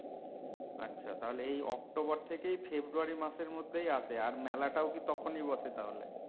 আচ্ছা তাহলে এই অক্টোবর থেকেই ফেব্রয়ারী মাসের মধ্যেই আসে আর মেলাটাও কি তখনি বসে তাহলে?